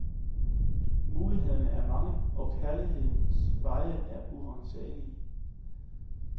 Mulighederne er mange, og kærlighedens veje er uransagelige.